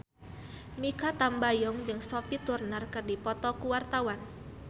Mikha Tambayong jeung Sophie Turner keur dipoto ku wartawan